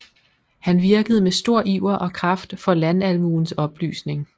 Han virkede med stor iver og kraft for landalmuens oplysning